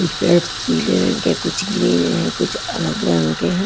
कुछ पेड़ पीले रंग के कुछ ग्रीन है कुछ अलग रंग के है।